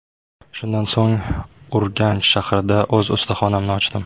Shundan so‘ng Urganch shahrida o‘z ustaxonamni ochdim.